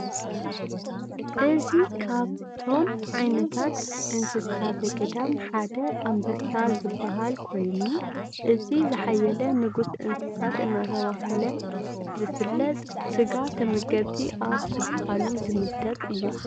እዚ ካብ ቶም ዓይነታት እንሰሳት ዘገዳም ሐደ አንበሳ ዝበሃል ኮይኑ እቲ ዝሐየለ ንጉስ እንሰሳት እናተባሃለ ዝፍለጥ ስጋ ተመገብቲ አብ ዝበሃሉ ዝምደብ እዩ።